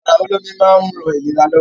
Bàrà olómi máa ń ran ìlera lọ́wọ́.